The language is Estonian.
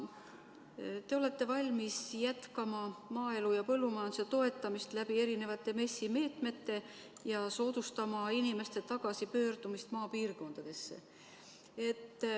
Te olete valmis jätkama maaelu ja põllumajanduse toetamist erinevate MES-i meetmetega ja soodustama inimeste tagasipöördumist maapiirkondadesse.